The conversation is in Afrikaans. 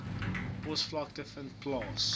posvlakke vind plaas